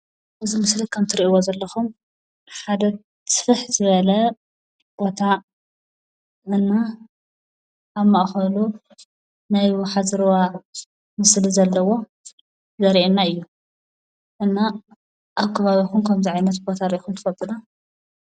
እዚ ምስሊ ካብ ትሪእይዎ ዘለኹም ሓደ ስፍሕ ዝበለ ቦታ ወይ ድማ ኣብ ማእኸሉ ናይ ወሓዚ ሩባ አብ ምስሊ ዘለዎ ዘርእየና እዩ። እና አብ ከባቢኹም ከምዙይ ዓይነት ቦታ ሪኢኹም ትፈልጡ ዶ?